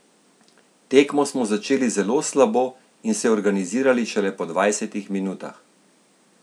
Tekmo smo začeli zelo slabo in se organizirali šele po dvajsetih minutah.